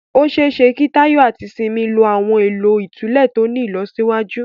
Ó ṣe é ṣe kí Tayo àti Simi lo àwọn ohun èlò ìtúlẹ̀ tó ní ìlọsíwájú